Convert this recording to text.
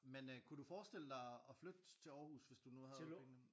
Men kunne du forestille dig at flytte til Aarhus hvis du nu havde pengene